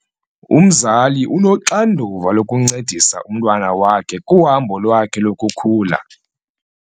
Umzali unoxanduva lokuncedisa umntwana wakhe kuhambo lwakhe lokukhula.